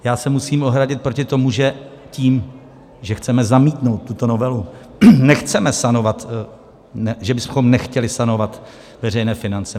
Já se musím ohradit proti tomu, že tím, že chceme zamítnout tuto novelu, nechceme sanovat, že bychom nechtěli sanovat veřejné finance.